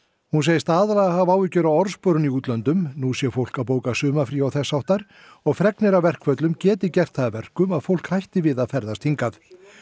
hún segist aðallega hafa áhyggjur af orðsporinu í útlöndum nú sé fólk að bóka sumarfrí og þess háttar og fregnir af verkföllum geti gert það að verkum að fólk hætti við að ferðast hingað